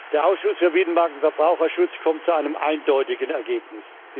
Der Ausschuss für Binnenmarkt und Verbraucherschutz kommt zu einem eindeutigen Ergebnis.